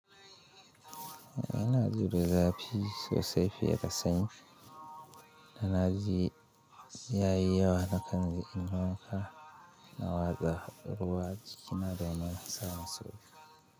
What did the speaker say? Ina jida zafi sosai fiye da sanyi. Ina ji yayi yawa na kan je inyo wanka, na watsa ruwa jikina domin samun sauki.